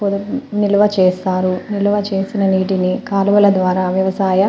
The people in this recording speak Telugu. నిలువ చేస్తారు నిలువ చేసిన నీటిని కాలువల ద్వారా వ్యవసాయ --